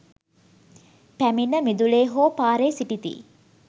පැමිණ මිදුලේ හෝ පාරේ සිටිති.